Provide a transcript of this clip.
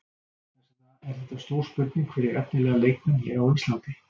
Þess vegna er þetta stór spurning fyrir efnilega leikmenn hér á Íslandi.